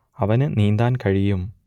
അവന് നീന്താൻ കഴിയും